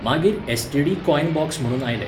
मागीर STD. Coin box म्हणून आयलें.